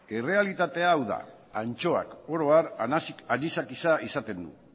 errealitatea hau da antxoak oro har anisakisa izaten du